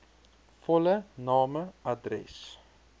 volle name adres